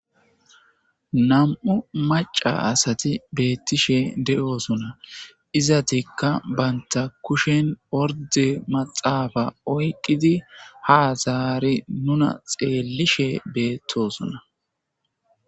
Nam7u maca asati beettishe de7osuna izatikka baynta kushen orde maxaafa oyqqidi ha zaari nuna xeellishe beettosona.